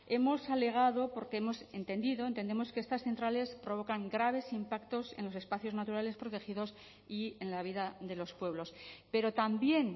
hemos alegado porque hemos entendido entendemos que estas centrales provocan graves impactos en los espacios naturales protegidos y en la vida de los pueblos pero también